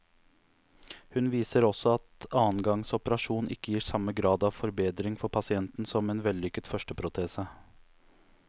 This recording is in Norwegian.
Hun viser også at annen gangs operasjon ikke gir samme grad av forbedring for pasienten som en vellykket første protese.